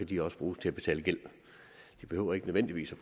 de også bruges til at betale gæld de behøver ikke nødvendigvis at